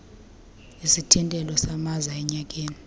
isithintelo samaza enyakeni